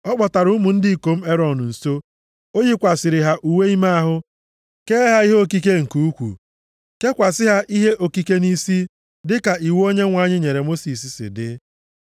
Ọ kpọtara ụmụ ndị ikom Erọn nso, o yikwasịrị ha uwe ime ahụ, kee ha ihe okike nke ukwu, kekwasị ha ihe okike nʼisi, dịka iwu Onyenwe anyị nyere Mosis si dị.